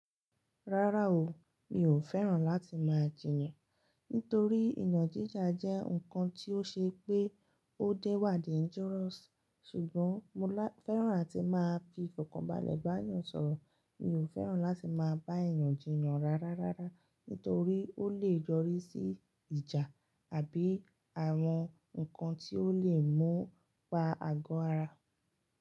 Rárá o, mi ò fẹ́ràn láti máa jiyàn. Nítorí ìyàn jíjà jẹ́ ǹkan tí ó ṣe pé ó dé wà dangerous. Ṣùgbọ́n mo fẹ́ràn àti máa bi ìfọ̀kànbalẹ̀ bá eeyàn sọ̀rọ̀. Mi ò fẹ́ràn láti máa bá èèyàn jiyàn rárá rárá, nítorí ó lè yọrí sí ìjà àbí àwọn ǹkan tí ó lè mú pa àgọ́ ara.